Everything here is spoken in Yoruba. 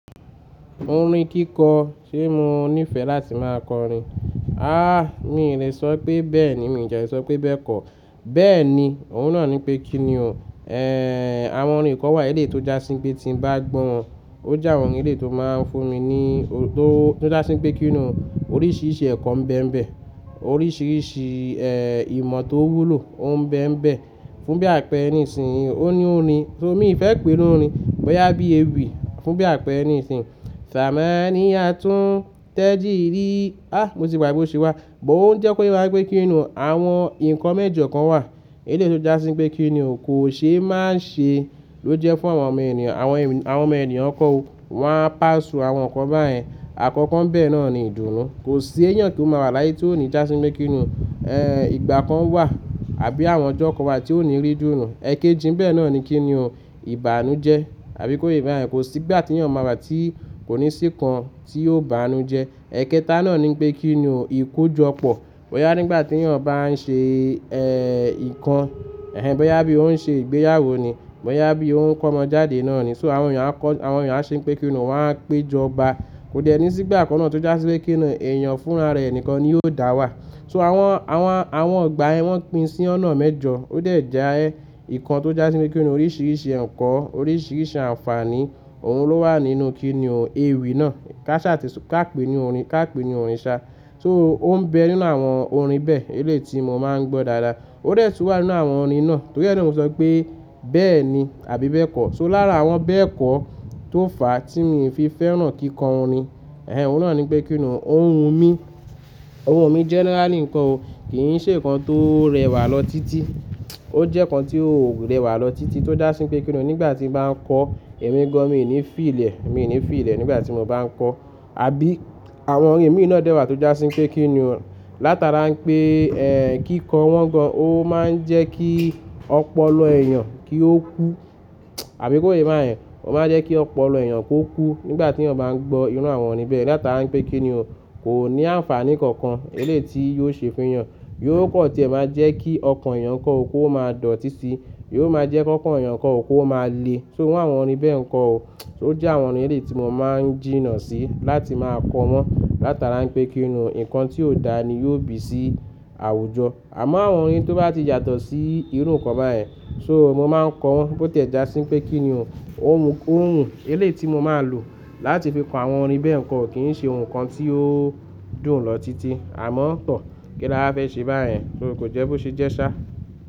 Orin kíkọ, ṣé mo nífẹ̀ẹ́ láti máa kọrin? Àh! Mí lè sọ pé bẹ́ẹ̀ni, mi de lè sọ pé bẹ́ẹ̀kọ́. Bẹ́ẹ̀ni, òun náà ní pé kíni o. Ehn, àwọn orin kan wà ní eléyìí tó jásí pé tí mo bá gbọ́ wọn, ó jà wọn ní eléyìí tó máa ń fún mi ní, tó, tó jásí pé kíni o. Oríṣiríṣi ẹ̀kọ́ ń bẹ ń bẹ, oríṣiríṣi, eh, ìmọ̀ tó wúlò ó ń bẹ ń bẹ. Fún bí àpẹẹrẹ nísinsìnyí, ó ní orin tó mi fẹ́ pe lórí, bọ́yá bí ewì, fún bí àpẹẹrẹ nísinsìnyí, Samani yatún tẹ́jírí. Ah! Mo ti gbàgbé bó ṣe wá. Mọ̀ ó ń jẹ́ koye wá pé kíni o. Àwọn nǹkan mẹ́jọ kan wà ní eléyìí tó jásí pé kíni o kò ṣe é máa ṣe ló jẹ́ fún àwọn ọmọ ènìyàn, àwọn, àwọn ọmọ ènìyàn kọ́ o. Wọ́n á pa sù àwọn nǹkan báyẹn. Àkọ́kọ́ ń bẹ náà ni ìdùnnú. Kò sí èèyàn tó máa wà láyé tí ó ní jásí pé kíni o, ehn, ìgbà kan wà àbí àwọn ọjọ́ kan wà tí ó ní rí ìdùnnú. Ẹ̀kéjì ń bẹ náà ni kíni o, ìbánújẹ, àbí kò yé báyẹn, kò sí ìgbà tí èèyàn máa wà tí kò ní sí nǹkan tí ó ń bánu jẹ. Ẹ̀kẹta náà ni pé kíni o, ìkójọpọ̀. Bọ́yá nígbà tí èèyàn bá ń ṣe, ehn, nǹkan, ehn, bọ́yá bí ó ń ṣe ìgbéyàwó ni, bọ́yá bí ó ń kọ́mọ jáde náà ni. So àwọn èèyàn á kọ́, àwọn èèyàn á ṣe pé kíni o, wọ́n á péjọ ọba. Kò déni sí ìgbà kan náà tó jásí pé kíni o, èèyàn fúnra rẹ̀ nìkan ni yóò dáwà. So àwọn, àwọn, àwọn ọ̀gbà ẹ wọ́n pín sí ọ̀nà mẹ́jọ. Ó dẹ̀ jẹ, nǹkan tó jásí pé kíni o, oríṣiríṣi ẹ̀kọ́, oríṣiríṣi àǹfààní, òun ló wà nínú kíni o ewì náà. Káṣá ti sọ, ká pè ni orin, ká pè ni orin sá. So ó ń bẹ nínú àwọn orin bẹ́ẹ̀, eléyìí tí mo máa ń gbọ́ dáadáa. Ó dẹ̀ tún wà nínú àwọn orin náà. Torí ẹni tí mo sọ pé bẹ́ẹ̀ni àbí bẹ́ẹ̀kọ́. So láàrín àwọn bẹ́ẹ̀ kọ́ tó fà á tí mi fi fẹ́ràn kíkọ orin. Eh hen, òun náà ní pé kíni o, òhun mí. Òhùn mí generally nkọ́ o. Kì í ṣe nǹkan tó rẹwà lọ títí. O jẹ́ nǹkan tí ó ò rẹwà lọ títí tó jásí pé kíni o, nígbà tí mo bá ń kọ, èmi gan-an mi ò ní fiili ẹ̀, mi ò ní fiili ẹ̀ nígbà tí mo bá ń kọ. Àbí àwọn orin ẹ̀mí náà dẹ́wàá tó jásí pé kíni o. Látara pé, ehn, kíkọ wọ́n gan-an, ó máa ń jẹ́ kí ọpọlọ èèyàn kí ó kú. Àbí kò yé báyẹn, ó máa ń jẹ́ kí ọpọlọ èèyàn kó kú nígbà tí èèyàn bá ń gbọ́ irú àwọn orin bẹ́ẹ̀. Látara pé kíni o, kò ní àǹfààní kankan eléyìí tí yóò ṣe fún èèyàn. Yóò kan tí ẹ máa jẹ́ kí ọkàn èèyàn kọ́ ó kó máa dọ̀tí síi. Yóò máa jẹ́ kọ́kan èèyàn kan o kó máa le. So irú àwọn orin bẹ́ẹ̀ nǹkan o. So ó jẹ́ àwọn orin eléyìí tí mo máa ń jìnnà sí láti máa kọ wọ́n. Látara pé kíni o, nǹkan tí ó dáa ni yóò bì sí àwùjọ. Àmọ́ àwọn orin tó bá ti yàtọ̀ sí irú nǹkan báyẹn, so mo máa ń kọ wọn bó tì ẹ jásí pé kíni o, ó wù, ó wùn. Eléyìí tí mo máa lò láti fi kọ àwọn orin bẹ́ẹ̀ nǹkan kì í ṣe ohun kan tí ó dùn lọ títí. Àmọ́ tọ́, kílà fẹ́ ṣe bá yẹn, torí kò jẹ́ bó ṣe jẹ́ ṣá.